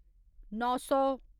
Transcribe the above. नौ सौ